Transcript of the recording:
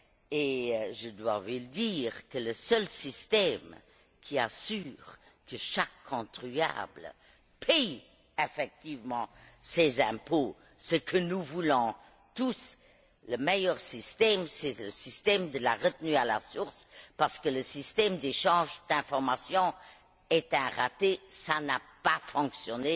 Et je dois lui dire que le seul système qui assure que chaque contribuable paie effectivement ses impôts ce que nous voulons tous le meilleur système, c'est le système de la retenue à la source parce que le système d'échange d'informations est un échec. Il n'a pas fonctionné,